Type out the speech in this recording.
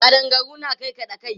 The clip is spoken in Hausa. Ƙadangaru na karkaɗa kai.